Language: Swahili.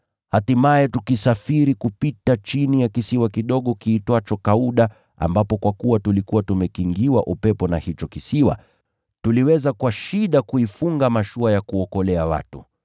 Hatimaye tukisafiri kupita chini ya kisiwa kidogo kiitwacho Kauda, ambapo kwa kuwa tulikuwa tumekingiwa upepo na hicho kisiwa, tuliweza kwa shida kuifunga mashua ya kuokolea watu.